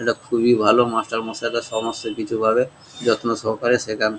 একটা খুবই ভালো মাস্টার মশাই সমস্ত কিছু পাবে যত্ন সহকারে সেখান।